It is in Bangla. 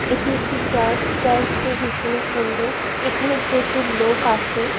এটি একটি চার্চ চার্চ টি ভীষণই সুন্দর এখানে প্রচুর লোক আসে।